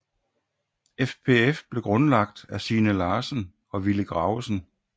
FPF blev grundlagt af Signe Larsen og Willy Gravesen